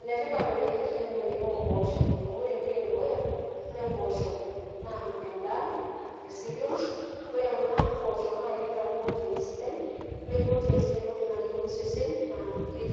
Ene tipat oleng' enkiremore o mpooshok amu ore entoki e dukuya, ore mpooshok naa endaa e cereals, ore kuna poosho naake eeta proteins sidai ore proteins naa entoki nayeu osesen